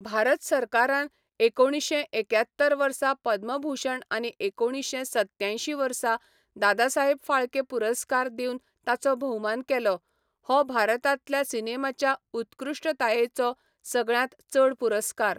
भारत सरकारान एकोणिशें एक्यात्तर वर्सा पद्मभूषण आनी एकोणिशें सत्यांयशीं वर्सा दादासाहेब फाल्के पुरस्कार दिवन ताचो भोवमान केलो, हो भारतांतल्या सिनेमाच्या उत्कृश्टतायेचो सगळ्यांत चड पुरस्कार.